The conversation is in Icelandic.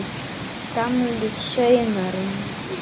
Gamlir saumar og nýir